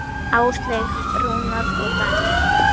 Áslaug, Rúnar og Daníel.